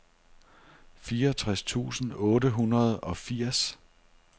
fireogtres tusind otte hundrede og firs